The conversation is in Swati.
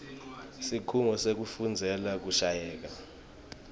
sikhungo sekufundzela kushayela